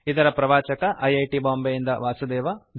ಇದರ ಪ್ರವಾಚಕ I I T Bombay ಯಿಂದ ವಾಸುದೇವ